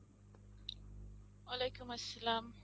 ওয়ালেকুম আসসালাম।